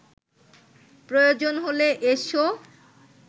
প্রয়োজন হলে এসো